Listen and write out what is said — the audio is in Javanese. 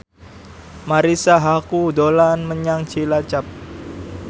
Marisa Haque dolan menyang Cilacap